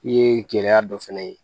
I ye gɛlɛya dɔ fana ye